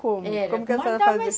Como, como que a senhora